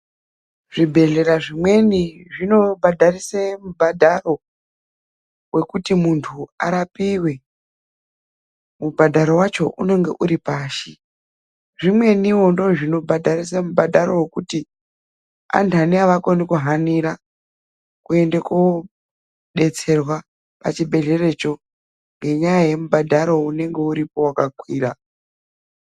Zvibhedhlera zvimweni zvinobhadharisa mubhadharo wekuti muntu arapiwe. Mubhadharo wacho unenge uri pashi. Zvimweniwo ndoozvino bhadharisa mubhadharo wekuti andaani avakoni kuhanira kuende koodetserwa pachibhedhleracho, ngenyaya yekubhadharo unenge uripo wakakwira.